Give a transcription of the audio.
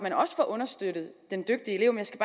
at understøtte den dygtige elev jeg skal